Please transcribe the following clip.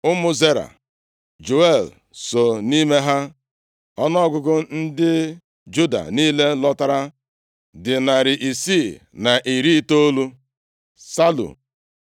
Ụmụ Zera, Jeuel so nʼime ha. Ọnụọgụgụ ndị Juda niile lọtara dị narị isii na iri itoolu (690).